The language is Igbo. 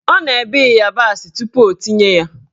Ọ na-ebe ịyabasị tupu o tinye ya